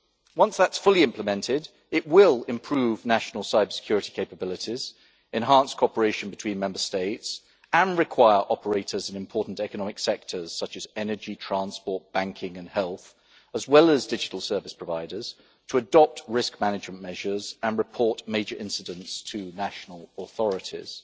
Once that is fully implemented it will improve national cybersecurity capabilities, enhance cooperation between Member States and require operators in important economic sectors such as energy, transport, banking and health, as well as digital service providers, to adopt risk management measures, and report major incidents to national authorities.